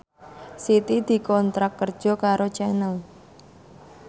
Siti dikontrak kerja karo Channel